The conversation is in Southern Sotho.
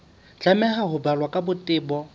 tlameha ho balwa ka botebo